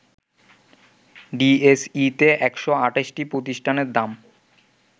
ডিএসইতে ১২৮টি প্রতিষ্ঠানের দাম